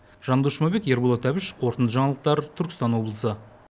жандос жұмабек ерболат әбіш қорытынды жаңалықтар түркістан облысы